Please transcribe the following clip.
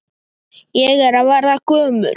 Ég er að verða gömul.